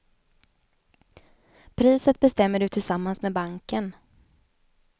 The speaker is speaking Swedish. Priset bestämmer du tillsammans med banken.